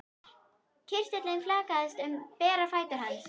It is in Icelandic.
Kirtillinn flaksaðist um bera fætur hans.